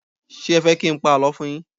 Ṣé ẹ fẹ́ kí n pa àlọ́ fún un yín?